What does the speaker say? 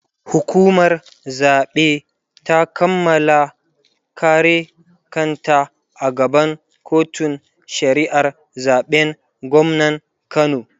hukumar zaɓe ta Kamala kare kanta a gaban kotun shari'ar zaɓen gwamnan kano